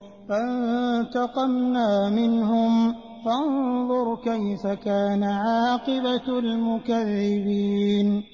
فَانتَقَمْنَا مِنْهُمْ ۖ فَانظُرْ كَيْفَ كَانَ عَاقِبَةُ الْمُكَذِّبِينَ